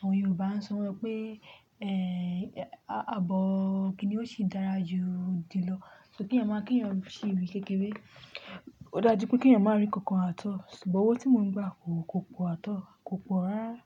àwọn Yorùbá ń sọ pé ẹ́, abọ́ kini ó sì dára ju jì lọ. So kí èèyàn má, kí èèyàn ṣí ri kékeré. Ó dáa jù pé kí èèyàn má rí nǹkan àtọ́. Ṣùgbọ́n owó tí mò ń gbà kò, kò pọ̀ àtọ́, kò pọ̀ rárá.